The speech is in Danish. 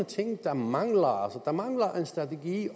ting der mangler der mangler en strategi